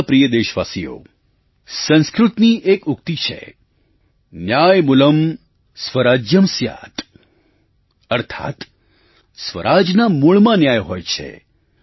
મારા પ્રિય દેશવાસીઓ સંસ્કૃતની એક ઉક્તિ છે न्यायमूलंन्यायमूलं स्वराज्यं स्यात्स्यात् અર્થાત્ સ્વરાજના મૂળમાં ન્યાય હોય છે